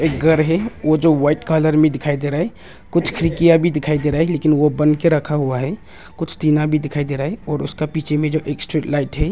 घर है वो जो वाइट कलर में दिखाई दे रहा है कुछ खिड़कियां भी दिखाई दे रहा है लेकिन वो बन के रखा हुआ है कुछ टीना भी दिखाई दे रहा है और उसका पीछे में जो स्ट्रीट लाइट है।